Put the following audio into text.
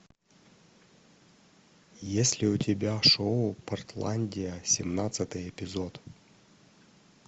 есть ли у тебя шоу портландия семнадцатый эпизод